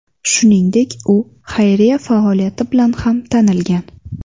Shuningdek, u xayriya faoliyati bilan ham tanilgan.